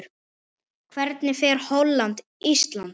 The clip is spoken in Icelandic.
Hvernig fer Holland- Ísland?